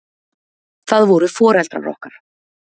Það voru foreldrar okkar.